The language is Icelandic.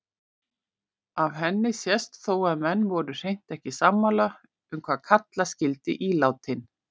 Af henni sést þó að menn voru hreint ekki sammála um hvað kalla skyldi ílátin.